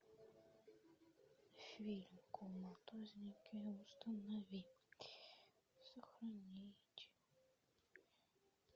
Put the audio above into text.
фильм коматозники установи сохранить